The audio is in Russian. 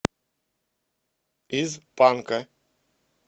из панка